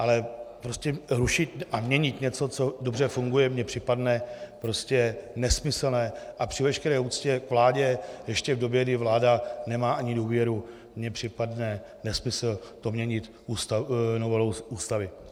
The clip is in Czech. Ale prostě rušit a měnit něco, co dobře funguje, mi připadá prostě nesmyslné a při veškeré úctě k vládě ještě v době, kdy vláda nemá ani důvěru, mi připadne nesmysl to měnit novelou Ústavy.